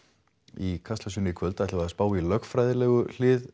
í Kastljósinu í kvöld ætlum við að spá í lögfræðilegu hlið